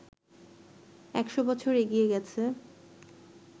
একশ বছর এগিয়ে গেছে